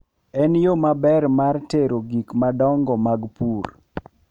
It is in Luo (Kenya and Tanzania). En yo maber mar tero gik madongo mag pur.